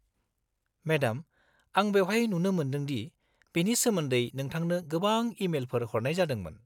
-Madam, आं बेवहाय नुनो मोन्दोंदि बेनि सोमोन्दै नोंथांनो गोबां इ-मेलफोर हरनाय जादोंमोन।